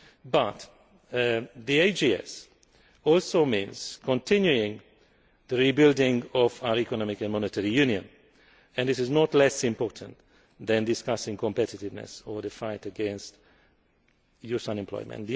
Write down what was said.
But the AGS also means continuing the rebuilding of our economic and monetary union, and this is no less important than discussing competiveness or the fight against youth unemployment.